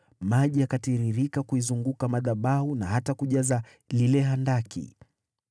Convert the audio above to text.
Maji yakatiririka kuizunguka madhabahu na hata kujaza lile handaki.